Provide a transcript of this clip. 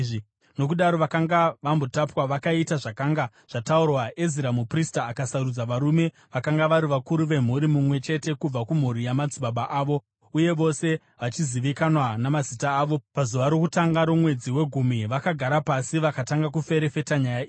Nokudaro vakanga vambotapwa vakaita zvakanga zvataurwa. Ezira muprista akasarudza varume vakanga vari vakuru vemhuri, mumwe chete kubva kumhuri yamadzibaba avo, uye vose vachizivikanwa namazita avo. Pazuva rokutanga romwedzi wegumi vakagara pasi vakatanga kuferefeta nyaya idzi,